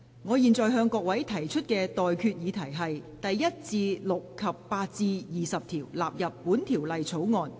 我現在向各位提出的待決議題是：第1至6及8至20條納入本條例草案。